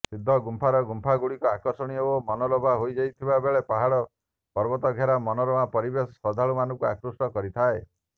ସିଦ୍ଧଗୁମ୍ପାର ଗୁମ୍ଫା ଗୁଡ଼ିକ ଆକର୍ଷଣୀୟ ଓ ମନୋଲାଭା ହୋଇଥିବାବେଳେ ପାହାଡ ପର୍ବତଘେରା ମନୋରମା ପରିବେଶ ଶ୍ରଦ୍ଧାଳୁ ମାନଙ୍କୁ ଆକୃଷ୍ଟ କରିଥାଏ